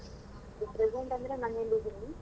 ಇಗ್ present ಅಂದ್ರೆ ನಾನಿಲ್ಲಿಡಿನಿ.